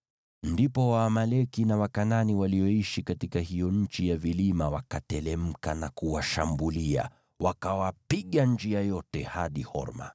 Ndipo Waamaleki na Wakanaani walioishi katika hiyo nchi ya vilima wakateremka na kuwashambulia, wakawapiga njia yote hadi Horma.